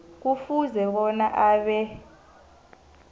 kufuze bona abe